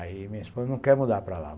Aí minha esposa não quer mudar para lá.